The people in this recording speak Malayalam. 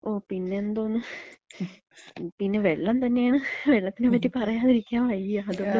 ഓ പിന്നെന്തോന്ന്. പിന്നെ വെള്ളം തന്നെയാണ്, വെള്ളത്തിനപറ്റി പറയാതിരിക്കാൻ വയ്യ അതോണ്ട്.